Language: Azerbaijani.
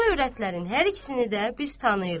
Bu övrətlərin hər ikisini də biz tanıyırıq.